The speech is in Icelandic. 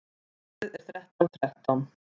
Númerið er þrettán þrettán.